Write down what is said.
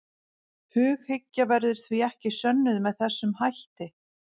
Hughyggja verður því ekki sönnuð með þessum hætti.